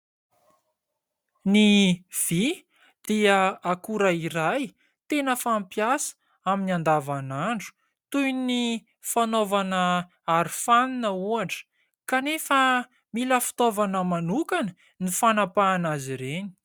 Ny vy dia akora iray tena fampiasa amin'ny andavanandro toy ny fanaovana arofanina ohatra, kanefa mila fitaovana manokana ny fanapahana azy ireny.